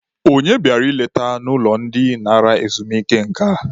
Onye bịara nleta n'ụlọ ndị nara ezumike nka?